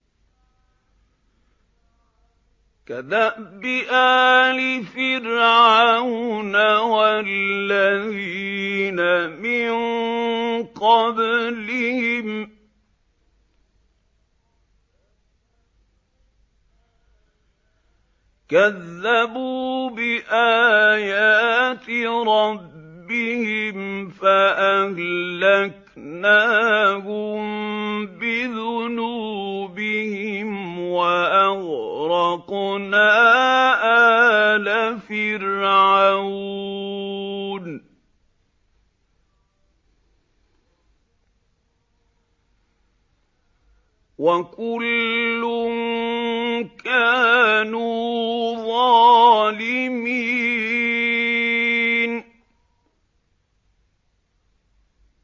كَدَأْبِ آلِ فِرْعَوْنَ ۙ وَالَّذِينَ مِن قَبْلِهِمْ ۚ كَذَّبُوا بِآيَاتِ رَبِّهِمْ فَأَهْلَكْنَاهُم بِذُنُوبِهِمْ وَأَغْرَقْنَا آلَ فِرْعَوْنَ ۚ وَكُلٌّ كَانُوا ظَالِمِينَ